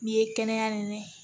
N'i ye kɛnɛya ɲini